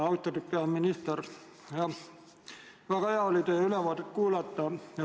Austatud peaminister, väga hea oli teie ülevaadet kuulata!